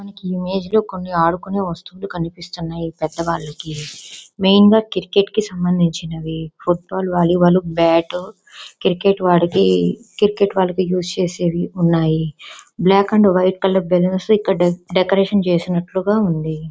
ఈ ఇమేజ్ లో కొన్ని ఆడుకొనే వస్తువులు కనిపిస్తునాయి. పెద్దవాళ్ళకి మెయిన్ గా క్రికెట్ కి సంబందించినవి వాలీబాల్ బాట్ క్రికెట్ వాళ్ళకి క్రికెట్ వాళ్ళకి యూస్ చేసేవి వున్నాయి. Black and white colour balloons ఇక్కడ డెకరేషన్ చేసినట్టుగా ఉంది.